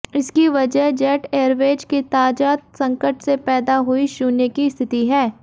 इसकी वजह Jet Airways के ताजा संकट से पैदा हुई शून्य की स्थिति है